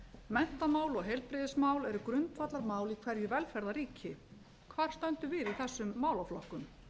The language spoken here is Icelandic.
menntamál og heilbrigðismál eru grundvallarmál í hverju velferðarríki hvar stöndum við í þessum málaflokkum